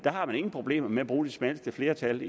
ingen problemer havde med at bruge de smalleste flertal